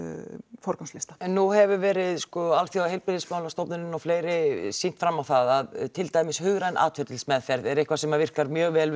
forgangslista en nú hefur verið sko Alþjóðaheilbrigðismálastofnunin og fleiri sýnt fram á það að til dæmis hugræn atferlismeðferð er eitthvað sem að virkar mjög vel við